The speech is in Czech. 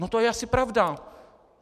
No to je asi pravda.